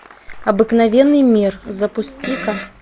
обыкновенный мир запусти ка